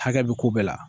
Hakɛ bɛ ko bɛɛ la